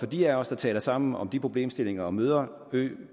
de af os der taler sammen om de problemstillinger og som møder